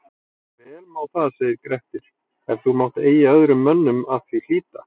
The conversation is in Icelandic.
Vel má það segir Grettir, ef þú mátt eigi öðrum mönnum að því hlíta